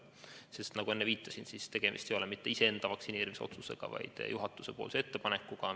Nagu ma enne viitasin, ei ole tegemist mitte iseenda vaktsineerimise otsusega, vaid juhatuse ettepanekuga.